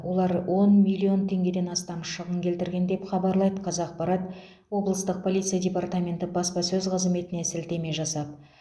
олар он миллион теңгеден астам шығын келтірген деп хабарлайды қазақпарат облыстық полиция департаменті баспасөз қызметіне сілтеме жасап